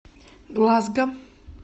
глазго